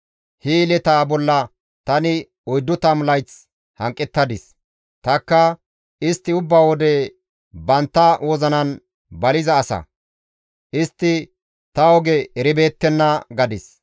He yeletaa bolla tani oyddu tammu layth hanqettadis; tanikka, ‹Istti ubba wode bantta wozinan baliza asa; istti ta oge eribeettenna› gadis.